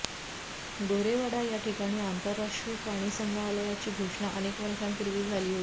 गोरेवाडा या ठिकाणी आंतरराष्ट्रीय प्राणी संग्रहालयाची घोषणा अनेक वर्षांपूर्वी झाली होती